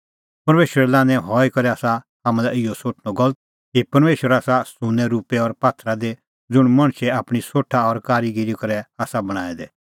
परमेशरे लान्हैं हई करै आसा हाम्हां लै इहअ सोठणअ गलत कि परमेशर आसा सुन्नैंरुपै और पात्थरा दी ज़ुंण मणछे आपणीं सोठा और कारीगीरी करै आसा बणांऐं दै